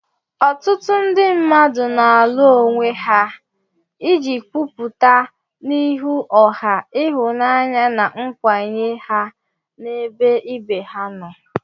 Ọtụtụ ndị mmadụ na-alu onwe ha iji kwupụta n'ihu ọha ịhụnanya na nkwenye ha n'ebe ibe ha nọ.